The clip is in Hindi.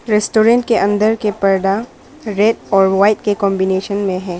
रेस्टोरेंट के अंदर के पर्दा रेट और व्हाइट के कांबिनेशन में है।